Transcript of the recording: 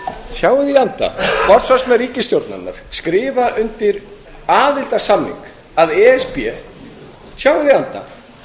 í anda forsvarsmenn ríkisstjórnarinnar skrifa undir aðildarsamning að e s b sjáið í anda